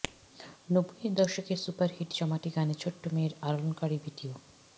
নব্বইয়ের দশকের সুপারহিট জমাটি গানে ছোট্ট মেয়ের আলোড়নকারী ভিডিও